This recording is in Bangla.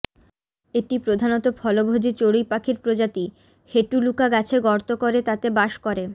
এটি প্রধানত ফলভোজীচড়ুই পাখির প্রজাতি হেটুলুকা গাছে গর্ত করে তাতে বাস করে